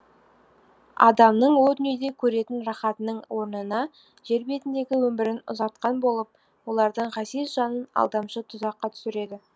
адамның о дүниеде көретін рахатының орнына жер бетіндегі өмірін ұзартқан болып олардың ғазиз жанын алдамшы тұзаққа түсіреді